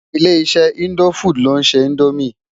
Ilé-iṣè Indófúd ló nṣé Indómi